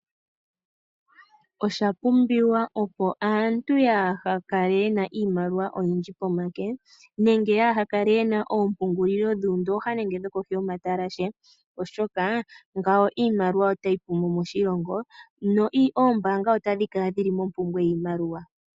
Oshapumbiwa opo aantu kaaya kale ye na iimaliwa oyindji pomake nenge kaaya pungule moondooha nenge kohi yomatalashe oshoka iimaliwa otayi pu mo moshilongo noombaanga otadhi kala dhili mompumbwe yoshimaliwa.